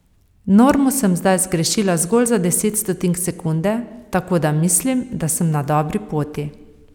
Normo sem zdaj zgrešila zgolj za deset stotink sekunde, tako da mislim, da sem na dobri poti.